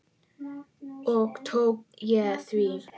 Og tók ég því.